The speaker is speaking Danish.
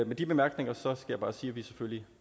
med de bemærkninger skal jeg bare sige at vi selvfølgelig